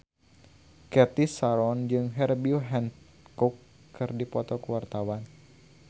Cathy Sharon jeung Herbie Hancock keur dipoto ku wartawan